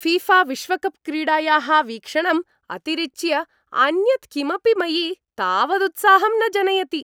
ऴीऴाविश्वकप् क्रीडायाः वीक्षणम् अतिरिच्य अन्यत् किमपि मयि तावदुत्साहं न जनयति।